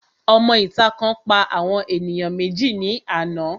Òmọ ìta kan pa àwọn ènìyàn méjì ní àná